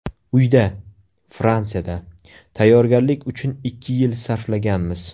Uyda, Fransiyada, tayyorgarlik uchun ikki yil sarflaganmiz.